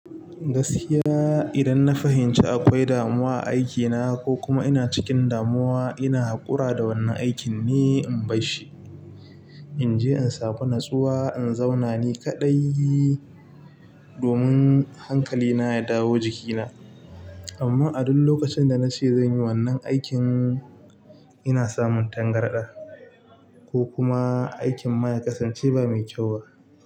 Gaskiya idan na fahimci akwai damuwa a aikina ko kuma ina cikin damuwa ina haƙura da wannan aikin ne in barshi in je in samu natsuwa in zauna ni kaɗai domin hankalina ya dawo jikina. Amma a duk lokacin da na ce zan yi wannan aikin, ina samun tangarɗa ko kuma aikin ma ye kasance ba mai kyau ba.